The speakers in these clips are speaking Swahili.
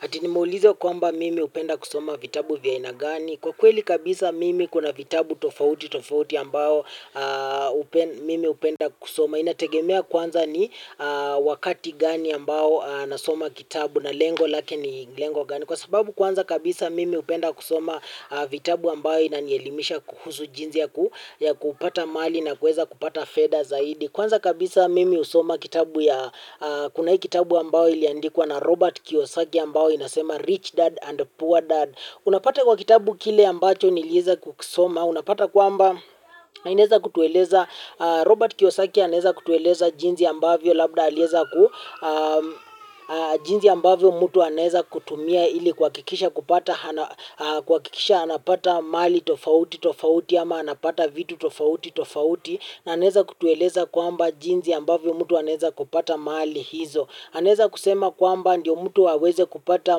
Ati nimeulizwa kwamba mimi hupenda kusoma vitabu vya aina gani? Kwa kweli kabisa mimi kuna vitabu tofauti tofauti ambao mimi hupenda kusoma. Inategemea kwanza ni wakati gani ambao nasoma kitabu na lengo lake ni lengo gani? Kwa sababu kwanza kabisa, mimi hupenda kusoma vitabu ambayo inanielimisha kuhusu jinzi ya kupata mali na kueza kupata fedha zaidi. Kwanza kabisa mimi husoma kitabu ya kuna hii kitabu ambayo iliandikwa na Robert Kiyosaki ambayo inasema Rich Dad and Poor Dad. Unapata kwa kitabu kile ambacho nilieza kusoma. Unapata kwamba, inaeza kutueleza, Robert Kiyosaki anaeza kutueleza jinzi ambavyo, labda alieza ku, jinzi ambavyo mtu anaeza kutumia ili kuhakikisha kupata. Kuhakikisha anapata mali tofauti tofauti ama anapata vitu tofauti tofauti. Na anaeza kutueleza kwamba jinzi ambavyo mtu anaeza kupata mali hizo. Anaeza kusema kwamba, ndiyo mtu aweze kupata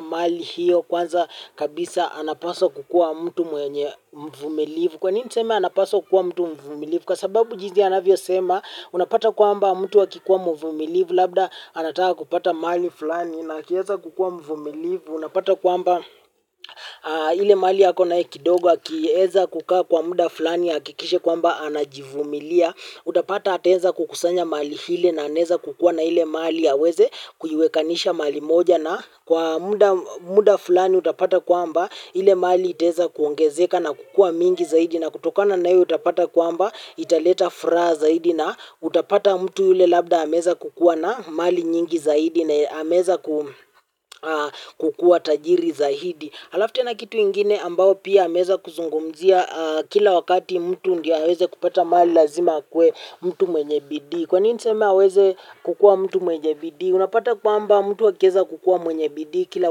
mali hiyo kwanza kabisa anapaswa kukua mtu mwenye mvumilivu. Kwa nini niseme anapaswa kukua mtu mvumilivu? Kwa sababu jinzi anavyosema unapata kwamba mtu akikuwa mvumilivu. Labda anataka kupata mali fulani na akieza kukua mvumilivu. Unapata kwamba ile mali akonayo kidogo akieza kukaa kwa muda fulani ahakikishe kwamba anajivumilia. Utapata ataeza kukusanya mali hile na anaeza kukuwa na hile mali aweze kuiwekanisha mali moja na kwa muda fulani utapata kwamba, ile mali itaweza kuongezeka na kukua mingi zaidi na kutokana na ile utapata kwamba, italeta furaha zaidi na, utapata mtu yule labda ameweza ku kuwa na mali nyingi zaidi na ameweza kukua tajiri zaidi. Alafu tena kitu ingine ambayo pia ameweza, kuzungumzia kila wakati mtu ndio aweze kupata mali lazima akue, mtu mwenye bidii. Kwa nini niseme aweze. Kukua mtu mwenye bidii. Unapata kwamba mtu akiweza kukua mwenye bidii kila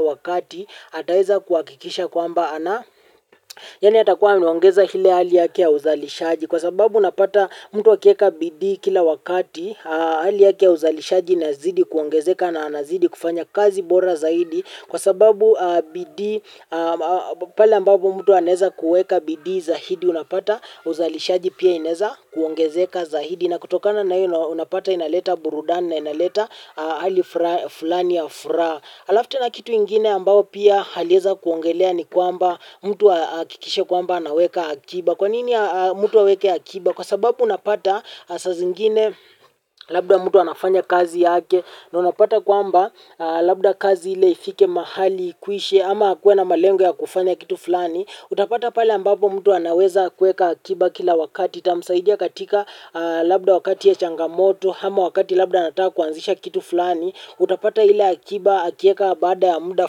wakati, ataweza kuhakikisha kwamba ana. Yani atakuwa anaongeza ile hali yake ya uzalishaji. Kwa sababu unapata mtu akiweka bidii kila wakati, hali yake ya uzalishaji inazidi kuongezeka na anazidi kufanya kazi bora zaidi. Kwa sababu. Bidii. Pale ambapo mtu anaweza kueka bidii zaidi unapata, uzalishaji pia inaweza, kuongezeka zaidi na kutokana na hiyo unapata inaleta burudani na inaleta hali fulani ya furaha, alafu tena kitu ingine ambao pia aliweza kuongelea ni kwamba mtu ahakikishe kwamba anaweka akiba. Kwa nini mtu aweke akiba? Kwa sababu unapata saa zingine labda mtu anafanya kazi yake na unapata kwamba, labda kazi hile ifike mahali ikwishe ama akuwe na malengo ya kufanya kitu fulani, utapata pale ambapo mtu anaweza kuweka akiba kila wakati itamsaidia katika, labda wakati ya changamoto ama wakati labda anataka kuanzisha kitu fulani utapata ile akiba akiweka baada ya muda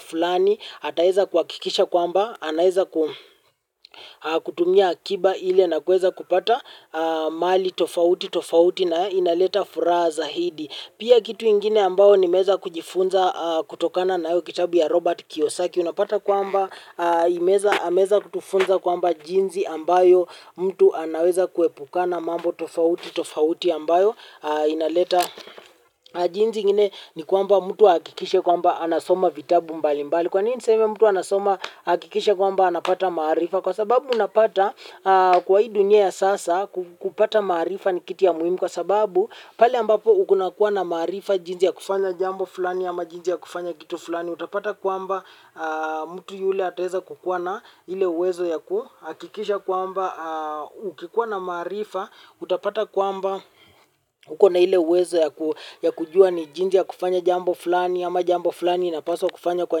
fulani. Ataweza kuhakikisha kwamba anaweza ku. Kutumia akiba ile na kuweza kupata mali tofauti tofauti na inaleta furaha zaidi. Pia kitu ingine ambayo nimeweza kujifunza, kutokana na hiyo kitabu ya Robert Kiyosaki. Unapata kwamba ameweza kutufunza kwamba jinsi ambayo, mtu anaweza kuepukana mambo tofauti tofauti ambayo, inaleta, jinsi ingine ni kwamba mtu ahakikishe kwamba anasoma vitabu mbali mbali. Kwa nini niseme mtu anasoma ahakikishe kwamba anapata maarifa? Kwa sababu unapata, kwa hii dunia ya sasa, kupata maarifa ni kitu ya muhimu. Kwa sababu, pale ambapo kuna kuwa na maarifa jinsi ya kufanya jambo fulani ama jinsi ya kufanya kitu fulani. Utapata kwamba, mtu yule ataweza kukua na, ile uwezo ya ku, hakikisha kwamba ukikuwa na maarifa. Utapata kwamba. Uko na ile uwezo ya kujua ni jinsi ya kufanya jambo fulani ama jambo fulani inapaswa kufanya kwa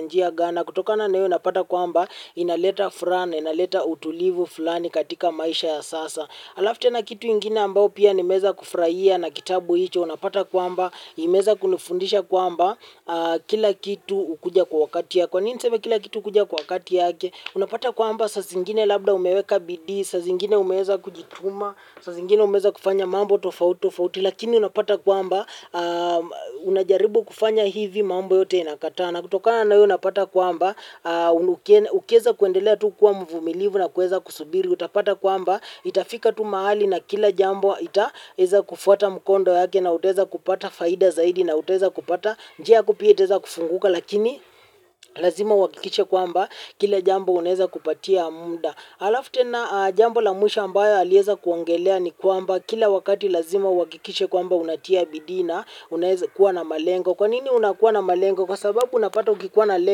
njia gani. Na kutokana na hiyo unapata kwamba inaleta furaha, na inaleta utulivu fulani katika maisha ya sasa. Alafu tena kitu ingine ambayo pia nimeweza kufurahia na kitabu hicho, unapata kwamba, imeweza kunifundisha kwamba, kila kitu hukuja kwa wakati yake. Kwa nini sniseme kila kitu hukuja kwa wakati yake? Unapata kwamba saa zingine labda umeweka bidii, saa zingine umeweza kujituma, saa zingine umeweza kufanya mambo tofauti, lakini unapata kwamba unajaribu kufanya hivi, mambo yote inakataa. Na kutokana na hiyo unapata kwamba ukiweza kuendelea tu kuwa mvumilivu na kuweza kusubiri, utapata kwamba, itafika tu mahali na kila jambo itaweza, kufuata mkondo yake na utaweza kupata faida zaidi na utaweza kupata njia yako pia itaweza kufunguka lakini, lazima uhakikishe kwamba, kila jambo unaweza kupatia muda. Alafu tena jambo la mwisho ambayo aliweza kuongelea ni kwamba, kila wakati lazima uhakikishe kwamba unatia bidii na, unaweza kuwa na malengo. Kwanini unakuwa na malengo? Kwa sababu unapata ukikua na le.